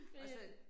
Det